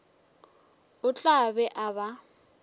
o tla be a ba